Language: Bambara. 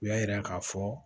U y'a yira k'a fɔ